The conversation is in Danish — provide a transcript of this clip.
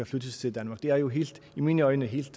flyttes til danmark det er jo i mine øjne helt